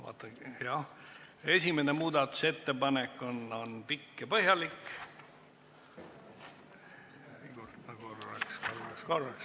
Jah, esimene muudatusettepanek on pikk ja põhjalik.